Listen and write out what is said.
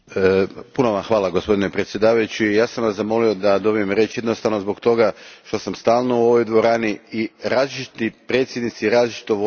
Gospodine predsjedniče, zamolio sam Vas da dobijem riječ jednostavno zbog toga što sam stalno u ovoj dvorani i različiti predsjednici različito vode ovu sjednicu.